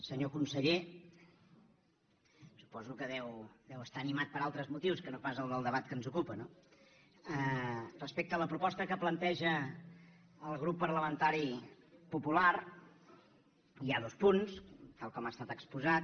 senyor conseller suposo que deu estar animat per altres motius que no pas el del debat que ens ocupa no respecte a la proposta que planteja el grup parlamentari popular hi ha dos punts tal com ha estat exposat